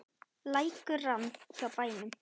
Lækur rann hjá bænum.